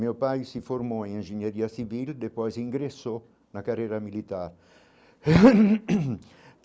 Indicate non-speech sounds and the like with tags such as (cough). Meu pai se formou em engenharia civil e depois ingressou na carreira militar. (coughs)